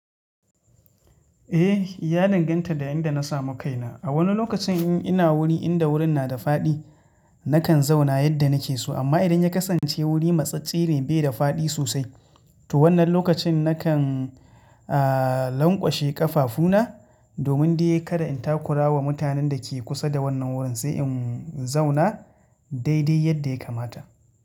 Eh, ya danganta da yadda na samu kaina. A wani lokacin in ina wuri inda wurin na da faɗi, nakan zauna yadda nake so. Amma idan ya kasance wuri matsatstse ne bai da faɗi sosai, to wannan lokacin nakan, aah, lanƙwashe ƙafafuna, domin dai kada in takura wa mutanen da ke kusa da wannan wurin, sai in zauna, dai-dai yadda ya kamata.